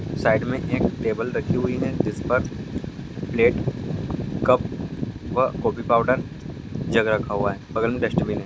Side में एक table रकी हुए है जिस पर plate cup coffee powder jug रखा हुआ है।